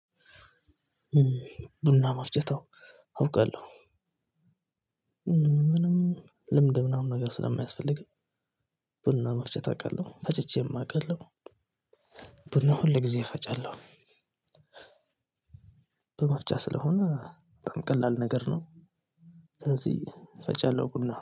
ቡና መፍጨት አውቃለሁ ልምድ ምናምን ነገር ስለማያስፈልግህ ቡና መፍጭት አውቃለሁ ፈጭቼም አቃለሁ። ቡና ሁል ጊዜ እፈጫለሁ። በመፍቻ ስለሆነ በጣም ቀላል ነገር ነው። ስለዚህ ፈጫለሁ ቡና